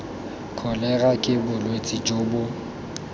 kholera ke bolwetse jo bo